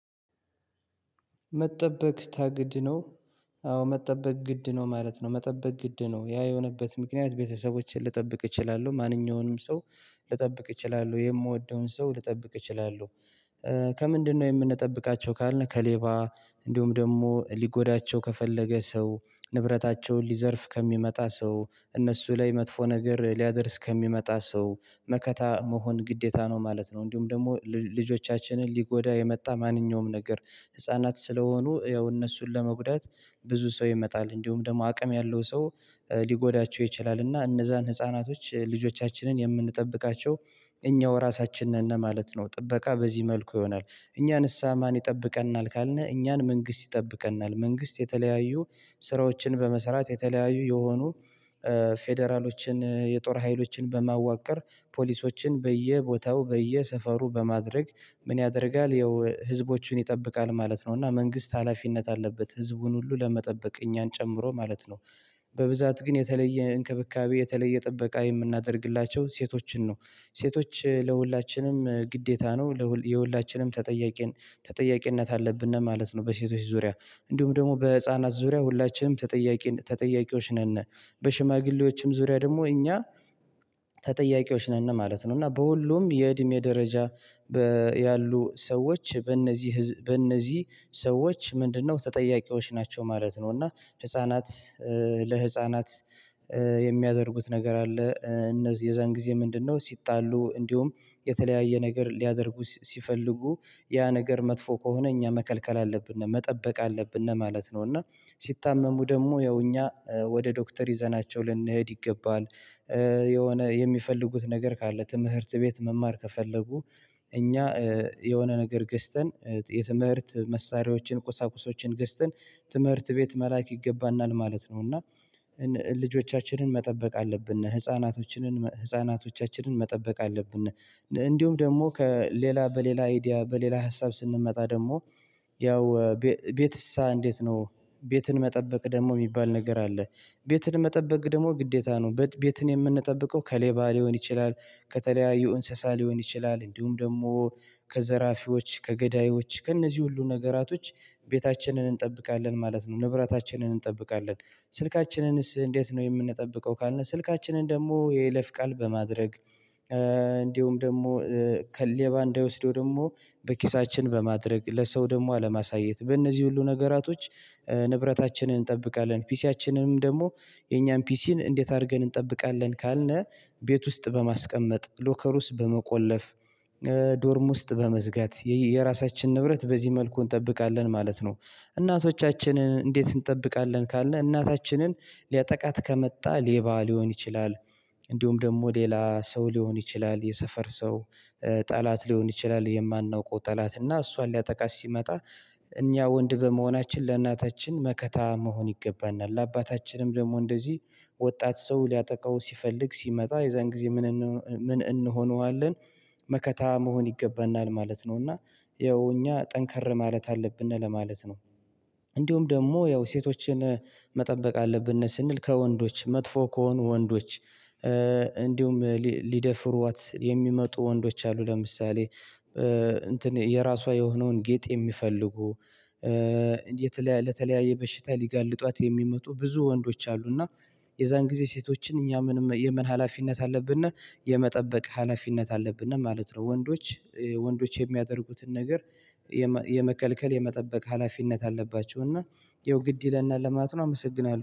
መጠበቅ ታግድ ነው። አዎ መጠበቅ ግድ ነው ማለት ነው። መጠበቅ ግድ ነው ያ የሆነበት ምክንያት ቤተሰቦችን ልጠብቅ እችላለሁ ማንኛውንም ሰው ልጠብቅ እችላለሁ የምወደውን ሰው ልጠብቅ እችላለሁ። ከምንድነው የምንጠብቃቸው ካልነ ከሌባ እንዲሁም ደግሞ ሊጎዳቸው ከፈለገ ሰው ንብረታቸውን ሊዘርፍ ከሚመጣ ሰው እነሱ ላይ መጥፎ ነገር ሊያደርስ ከሚመጣ ሰው መከታ መሆን ግዴታ ነው ማለት ነው። እንዲሁም ደግሞ ልል ልጆቻችንን ሊጎዳ የመጣ ማንኛውም ነገር ህፃናት ስለሆኑ ያው እነሱን ለመጉዳት ብዙ ሰው ይመጣል እንዲሁም ደግሞ አቅም ያለው ሰው ሊጎዳቸው ይችላል እና እነዛን ህፃናቶች ልጆቻችንን የምንጠብቃቸው እኛው ራሳችን ነነ ማለት ነው። ጥበቃ በዚህ መልኩ ይሆናል እኛን እሳ ማን ይጠብቀናል ካልነ እኛን መንግስት ይጠብቀናል። መንግስት የተለያዩ ስራዎችን በመሰራት የተለያዩ የሆኑ ፌደራሎችን የጦር ሀይሎችን በማዋቀር ፖሊሶችን በየቦታው በየሰፈሩ በማድረግ ምን ያደርጋል ይኸው ህዝቦችን ይጠብቃል ማለት ነው። እና መንግስት ሀላፊነት አለበት ህዝቡን ሁሉ ለመጠበቅ እኛን ጨምሮ ማለት ነው። በብዛት ግን የተለየ እንክብካቤ የተለየ ጥበቃ የምናደርግላቸው ሴቶችን ነው ሴቶች ለሁላችንም ግዴታ ነው ለ የሁላችንም ተጠያቂ ነው ተጠያቂነት አለብን ማለት ነው። በሴቶች ዙሪያ እንዲሁም ደግሞ በህፃናት ዙሪያ ሁላችንም ተጠያቂ ተጠያቂዎች ነነ በሽማግሌዎችም ዙሪያ ደግሞ እኛ ተጠያቂዎች ነነ ማለት ነው። እና በሁሉም የእድሜ ደረጃ ያሉ ሰዎች በእነዚህ ህዝብ በእነዚህ ሰዎች ምንድነው ተጠያቂዎች ናቸው ማለት ነው። እና ህፃናት ለህፃናት የሚያደርጉት ነገር አለ እነዚህ የዛን ጊዜ ምንድነው ሲጣሉ እንዲሁም የተለያየ ነገር ሊያደርጉ ሲፈልጉ ያ ነገር መጥፎ ከሆነ እኛ መከልከል አለብነ መጠበቅ አለብነ ማለት ነው። እና ሲታመሙ ደግሞ ያው እኛ ወደ ዶክተር ይዘናቸው ልንሄድ ይገባል የሆነ የሚፈልጉት ነገር ካለ ትምህርት ቤት መማር ከፈለጉ እኛ የሆነ ነገር ገዝተን የትምህርት መሳሪያዎችን ቁሳቁሶችን ገስተን ትምህርት ቤት መላክ ይገባናል ማለት ነው። እና ልጆቻችንን መጠበቅ አለብነ ህፃናቶችንን ህፃናቶቻችንን መጠበቅ አለብን። እንዲሁም ደግሞ ከሌላ በሌላ አይዲያ በሌላ ሀሳብ ስንመጣ ደግሞ ያው ቤቤት እሳ እንዴት ነው? ቤትን መጠበቅ ደግሞ የሚባል ነገር አለ። ቤትን መጠበቅ ደግሞ ግዴታ ነው በት ቤትን የምንጠብቀው ከሌባ ሊሆን ይችላል ከተለያዩ እንስሳ ሊሆን ይችላል እንዲሁም ደግሞ ከዘራፊዎች ከገዳዮች ከእነዚህ ሁሉ ነገራቶች ቤታችንን እንጠብቃለን ማለት ነው። ንብረታችንን እንጠብቃለን ስልካችንንስ እንዴት ነው የምንጠብቀው ካልነው ስልካችንን ደግሞ የለይፍ ቃል በማድረግ እንዲሁም ደግሞ ከሌ ሌባ እንዳይወስደው ደግሞ በኪሳችን በማድረግ ለሰው ደግሞ አለማሳየት በእነዚህ ሁሉ ነገራቶች ንብረታችንን እንጠብቃለን። ፒሲያችንንም ደግሞ የኛን ፒሲን እንዴት አርገን እንጠብቃለን ካልነ ቤት ውስጥ በማስቀመጥ ሎከር ውስጥ በመቆለፍ ዶርም ውስጥ በመዝጋት የየ የራሳችን ንብረት በዚህ መልኩ እንጠብቃለን ማለት ነው። እናቶቻችንን እንዴት እንጠብቃለን ካልነ እናታችንን ሊያጠቃት ከመጣ ሌባ ሊሆን ይችላል እንዲሁም ደግሞ ሌላ ሰው ሊሆን ይችላል የሰፈር ሰው ጠላት ሊሆን ይችላል የማናውቀው ጠላት እና እሷን ሊያጠቃት ሲመጣ እኛ ወንድ በመሆናችን ለእናታችን መከታ መሆን ይገባናል ለአባታችንም ደግሞ እንደዚህ ወጣት ሰው ሊያጠቃው ሲፈልግ ሲመጣ የዛን ጊዜ ምን እንሆንዋለን መከታ መሆን ይገባናል ማለት ነው። እና ይኸው እኛ ጠንከር ማለት አለብነ ለማለት ነው። እንዲሁም ደግሞ ያው ሴቶችን መጠበቅ አለብነ ስንል ከወንዶች መጥፎ ከሆኑ ወንዶች እንዲሁም ሊደፍሯት የሚመጡ ወንዶች አሉ ለምሳሌ እንትን የራሷ የሆነውን ጌጥ የሚፈልጉ ለተለያየ በሽታ ሊጋልጧት የሚመጡ ብዙ ወንዶች አሉ እና የዛን ጊዜ ሴቶችን እኛ ምንም የምን ሀላፊነት አለብነ እና የመጠበቅ ሀላፊነት አለብነ ማለት ነው። ወንዶች ወንዶች የሚያደርጉትን ነገር የመ የመከልከል የመጠበቅ ሀላፊነት አለባቸው እና ይኸው ግድ ይለናል ለማለት ነው። አመሰግናለሁ